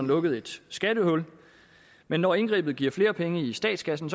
lukkede et skattehul men når indgrebet giver flere penge i statskassen